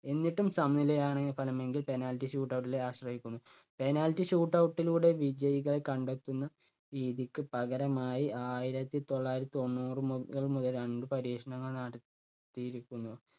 എന്നിട്ടും സമനിലയാണ് ഫലം എങ്കിൽ penalty shootout ലെ ആശ്രയിക്കുന്നു. Penalty shooutout ലൂടെ വിജയികളെ കണ്ടെത്തുന്ന രീതിക്ക് പകരമായി ആയിരത്തി തൊള്ളായിരത്തി തൊണ്ണൂറു മുത~മുതലാണ് ഇത് പരീക്ഷണങ്ങൾ നടത്തി~യിരിക്കുന്നു.